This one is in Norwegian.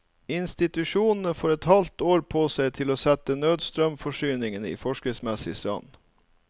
Institusjonene får et halvt år på seg til å sette nødstrømsforsyningen i forskriftsmessig stand.